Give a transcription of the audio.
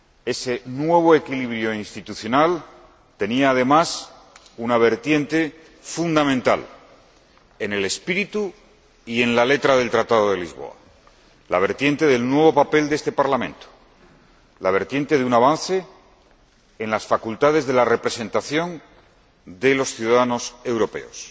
Ese nuevo equilibrio institucional tenía, además, una vertiente fundamental en el espíritu y en la letra del Tratado de Lisboa la vertiente del nuevo papel de este Parlamento, la vertiente de un avance en las facultades de la representación de los ciudadanos europeos.